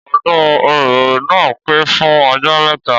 Ọdún oro naa pẹ́ fún ọjọ́ mẹ́ta